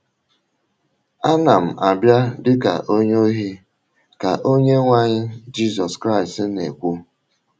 Ana m abịa dị ka onye ohi, ” ka Onyenwe anyị Jizọs Kraịst na - ekwu.